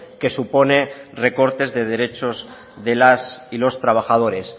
que supone recortes de derechos de las y los trabajadores